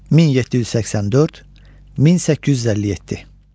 1784-1857.